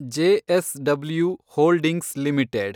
JSW holdings limited